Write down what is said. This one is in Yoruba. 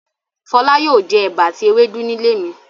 Fọlá yóò jẹ ẹ̀bà àti ewédú nílé mi.